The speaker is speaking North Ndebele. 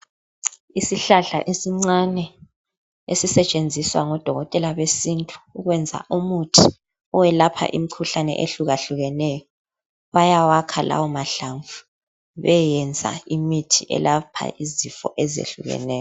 Isihlahla esincane ezisetshenziswa ngoDokotela besintu ukwenza umuthi oyelapha imikhuhlane ehlukahlukeneyo Bayawakha lawo mahlamvu beyeyenza imithi eyelapha izifo ezitshiyeneyo.